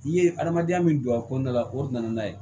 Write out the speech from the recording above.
I ye adamadenya min don a kɔnɔna la o de nana n'a ye